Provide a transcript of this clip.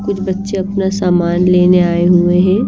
कुछ बच्चे अपना सामान लेने आए हुए हैं।